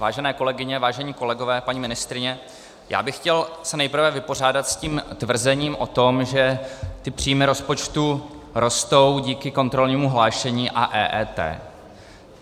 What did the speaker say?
Vážené kolegyně, vážení kolegové, paní ministryně, já bych se chtěl nejprve vypořádat s tím tvrzením o tom, že ty příjmy rozpočtu rostou díky kontrolnímu hlášení a EET.